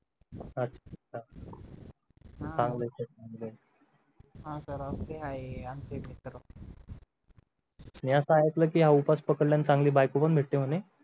चांगलंच आहे म्हणजे हा sir असे आहे आमचे मित्र मी असा ऐकले की हा उपवास पकडल्याने चांगली बायको पण भेटते म्हणे